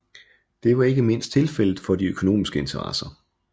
Det var ikke mindst tilfældet for de økonomiske interesser